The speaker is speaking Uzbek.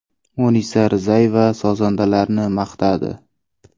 Munisa Rizayeva sozandalarini maqtadi.